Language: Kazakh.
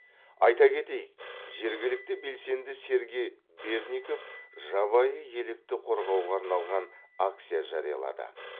айта кетейік жергілікті белсенді сергей бердников жабайы елікті қорғауға арналған акция жариялады